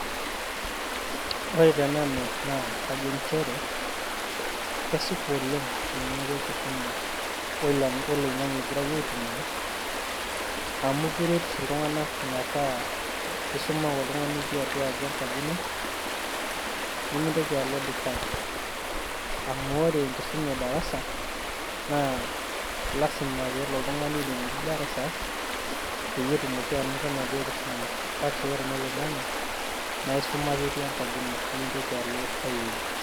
woore tenanu naa kaajo njere kesipa oleng eneaku enkisuma oloing'ange aitumiaa amu keret iltunganak metaa isuma ake itii enkaji ino nimintoki aloo dikaii amu oore enkisuna edarasa naa lasima piilo darasa petumoki anoto enaduoo kisuma kake wore enoloing'ange naisumaa ake itii enkaji ino